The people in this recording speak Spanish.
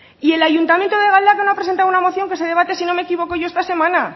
y el ayuntamiento de galdakao ha presentado una moción que se debate si no me equivoco yo esta semana